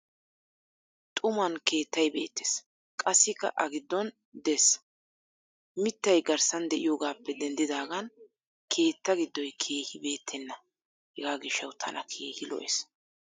Xuman Keettay beettes. gassi a giddon dees. mitay garssan diyoogappe denddidaagan Keettaa giddoy Keehi beetenna. hegaa gishshawu tana Keehi lo'ees.